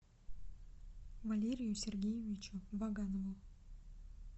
валерию сергеевичу ваганову